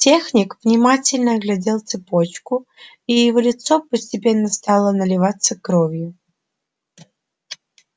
техник внимательно оглядел цепочку и его лицо постепенно стало наливаться кровью